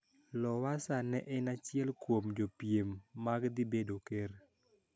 Lowassa ne en achiel kuom jopiem mag dhi bedo ker